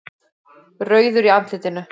Rauður í andlitinu.